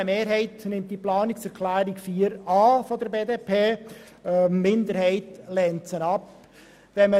Eine Mehrheit der BDP nimmt die Planungserklärung 4 an, und eine Minderheit lehnt sie ab.